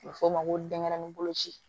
A bɛ f'o ma ko denɲɛrɛnin bolo ci